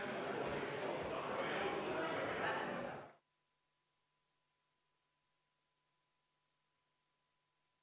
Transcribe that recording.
Istungi lõpp kell 18.02.